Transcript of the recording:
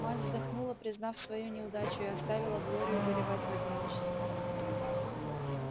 мать вздохнула признав свою неудачу и оставила глорию горевать в одиночестве